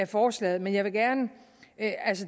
forslaget men jeg vil gerne